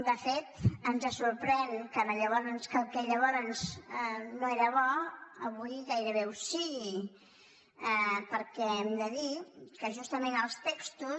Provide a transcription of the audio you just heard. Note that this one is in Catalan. de fet ens sorprèn que el que llavors no era bo avui gairebé ho sigui perquè hem de dir que justament els textos